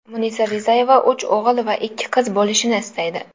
Munisa Rizayeva uch o‘g‘il va ikki qizi bo‘lishini istaydi.